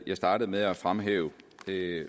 jeg startede med at fremhæve